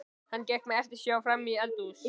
Hann gekk með eftirsjá frammí eldhúsið.